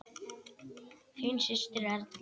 Þín systir, Erla.